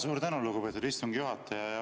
Suur tänu, lugupeetud istungi juhataja!